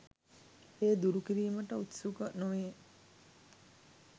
එය දුරු කිරීමට උත්සුක නොවී